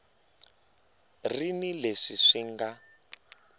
ri ni leswi swi nga